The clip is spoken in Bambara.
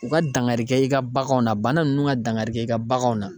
U ka dankari kɛ i ka baganw na bana nunnu ka dankari kɛ i ka baganw na.